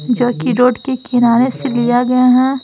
जो कि रोड के किनारे से लिया गया है।